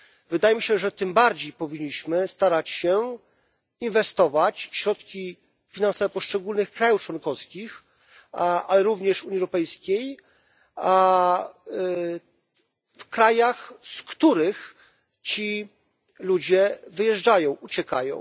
Wydaje mi się, że tym bardziej powinniśmy starać się inwestować środki finansowe poszczególnych państw członkowskich, a również Unii Europejskiej, w krajach, z których ci ludzie wyjeżdżają, uciekają.